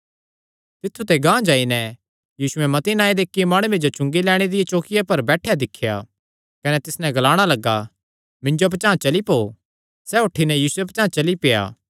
तित्थु ते गांह जाई नैं यीशुयैं मत्ती नांऐ दे इक्की माणुये जो चुंगी लैणे दिया चौकिआ पर बैठेयो दिख्या कने तिस नैं ग्लाणा लग्गा मिन्जो पचांह़ चली पौ सैह़ उठी नैं यीशुये पचांह़ चली पेआ